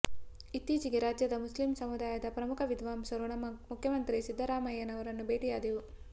ಇತ್ತೀಚೆಗೆ ರಾಜ್ಯದ ಮುಸ್ಲಿಮ್ ಸಮುದಾಯದ ಪ್ರಮುಖ ವಿದ್ವಾಂಸರು ನಮ್ಮ ಮುಖ್ಯಮಂತ್ರಿ ಸಿದ್ದರಾಮಯ್ಯರನ್ನು ಬೇಟಿಯಾದೆವು